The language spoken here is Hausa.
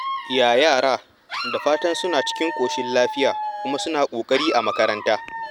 Ya yara? Da fatan suna cikin ƙoshin lafiya kuma suna ƙoƙari a makaranta.